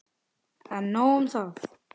En nóg um það.